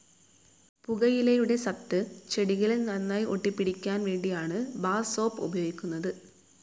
പുകയിലയുടെ സത്ത് ചെടികളിൽ നന്നായി ഒട്ടിപ്പിടിയ്ക്കാൻ വേണ്ടിയാണ് ബാർ സോപ്പ്‌ ഉപയോഗിക്കുന്നത്.